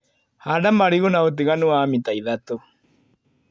Handa marigũ na ũtiganu wa mita ithatũ.